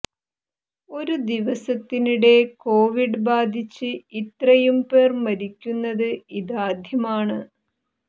ഒരു ദിവസത്തിനിടെ കൊവിഡ് ബാധിച്ച് ഇത്രയും പേർ മരിക്കുന്നത് ഇതാദ്യമാണ്